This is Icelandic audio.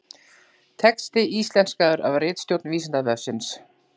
Texti íslenskaður af ritstjórn Vísindavefsins.